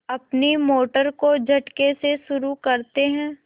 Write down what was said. अपनी मोटर को झटके से शुरू करते हैं